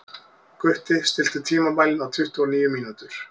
Gutti, stilltu tímamælinn á tuttugu og níu mínútur.